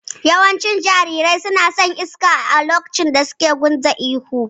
Yawancin jarirai suna shurin iska lokacin da suke gunza ihu